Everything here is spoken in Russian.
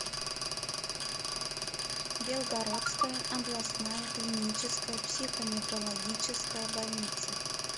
белгородская областная клиническая психоневрологическая больница